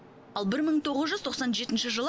ал бір мың тоғыз жүз тоқсан жетінші жылы